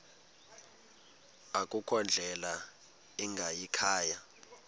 akukho ndlela ingayikhaya